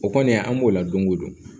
O kɔni an b'o la don o don